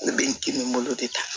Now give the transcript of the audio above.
Ne bɛ n timinandiya